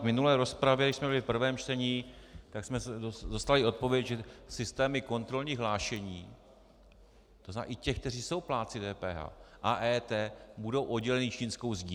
V minulé rozpravě, když jsme byli v prvém čtení, tak jsme dostali odpověď, že systémy kontrolních hlášení, to znamená i těch, kteří jsou plátci DPH, a EET budou odděleny čínskou zdí.